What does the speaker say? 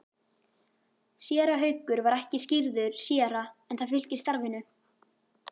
Séra Haukur var ekki skírður séra en það fylgir starfinu.